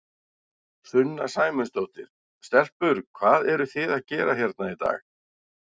Sunna Sæmundsdóttir: Stelpur, hvað eruð þið að gera hérna í dag?